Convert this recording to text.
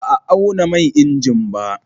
Ba a auna man injin ba.